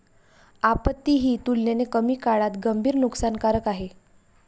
आपत्ती ही तुलनेने कमी काळात गंभीर नुकसानकारक आहे.